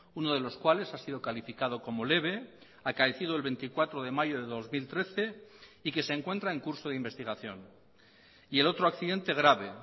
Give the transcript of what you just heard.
uno de los cuales ha sido calificado como leve acaecido el veinticuatro de mayo de dos mil trece y que se encuentra en curso de investigación y el otro accidente grave